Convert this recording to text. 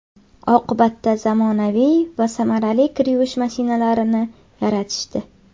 Oqibatda zamonaviy va samarali kir yuvish mashinalarini yaratishdi.